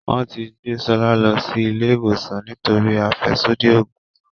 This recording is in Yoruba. Wón tí gbé Shola ló sì ilé ìwòsàn nítorí afẹsodi oògùn.